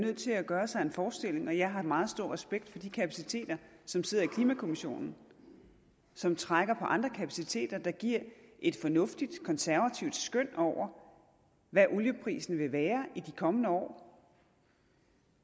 nødt til at gøre sig en forestilling og jeg har meget stor respekt for de kapaciteter som sidder i klimakommissionen som trækker på andre kapaciteter der giver et fornuftigt konservativt skøn over hvad olieprisen vil være i de kommende år